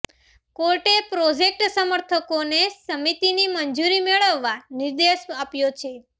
કોર્ટે પ્રોજેક્ટ સમર્થકોને સમિતિની મંજૂરી મેળવવા નિર્દેશ આપ્યો છે